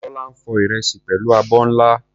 Tola ń fọ ìrẹsì pẹ̀lú abọ́ ńlá.